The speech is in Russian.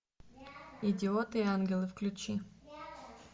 идиоты и ангелы включи